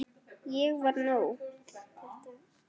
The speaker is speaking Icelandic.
Ég var nóg.